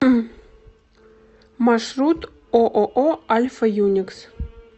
маршрут ооо альфа юникс